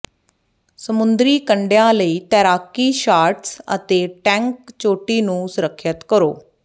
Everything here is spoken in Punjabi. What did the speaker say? ਸਮੁੰਦਰੀ ਕੰਢਿਆਂ ਲਈ ਤੈਰਾਕੀ ਸ਼ਾਰਟਸ ਅਤੇ ਟੈਂਕ ਚੋਟੀ ਨੂੰ ਸੁਰੱਖਿਅਤ ਕਰੋ